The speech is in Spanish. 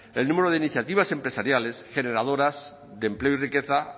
el número de iniciativas empresariales generadoras de empleo y riqueza